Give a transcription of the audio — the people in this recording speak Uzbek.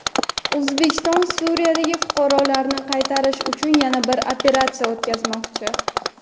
O‘zbekiston Suriyadagi fuqarolarini qaytarish uchun yana bir operatsiya o‘tkazmoqchi.